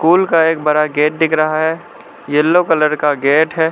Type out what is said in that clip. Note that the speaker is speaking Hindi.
स्कूल का एक बड़ा गेट दिख रहा है येलो कलर का एक गेट है।